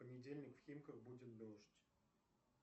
понедельник в химках будет дождь